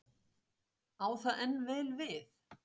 Á það enn vel við?